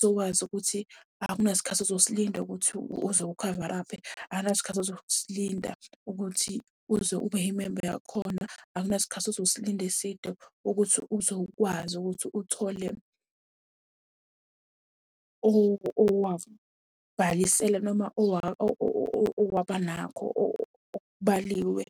sokwazi ukuthi akunasikhathi ozosilinda ukuthi uze ukhavaraphe. Akunasikhathi ozosilinda ukuthi uze ube imemba yakhona. Akunasikhathi ozosilinda eside ukuthi uze ukwazi ukuthi uthole owakubhalisela noma waba nakho okubaliwe